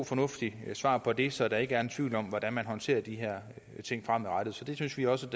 fornuftigt svar på det så der ikke er tvivl om hvordan man håndterer de her ting fremadrettet så det synes vi også